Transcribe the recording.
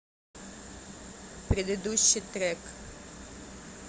предыдущий трек